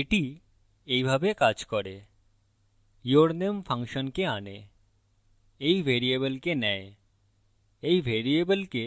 এটি এইভাবে calls করে yourname ফাংশনকে আনে এই ভ্যারিয়েবলকে নেয় এই ভ্যারিয়েবলকে